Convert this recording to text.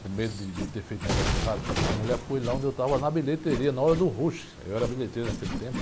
com medo de, de ter feito o negócio errado, a mulher foi lá onde eu estava na bilheteria, na hora do rush, eu era bilheteiro naquele tempo.